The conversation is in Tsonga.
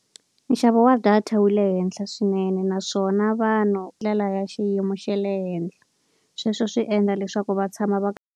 Nxavo wa data wu le henhla swinene naswona vanhu ndlela ya xiyimo xa le henhla. Sweswo swi endla leswaku va tshama va kha va.